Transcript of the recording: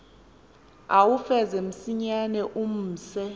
uwufeze msinyane umse